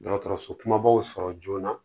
Dɔgɔtɔrɔso kumabaw sɔrɔ joona